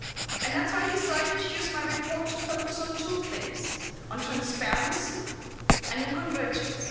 And that's why I decided to use my report to focus on two things on transparency and on convergence.